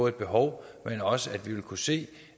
et behov men også at vi vil kunne se